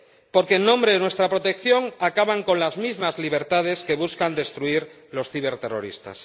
Porque en nombre de nuestra protección acaban con las mismas libertades que buscan destruir los ciberterroristas.